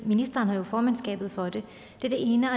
ministeren har jo formandskabet for det det er det ene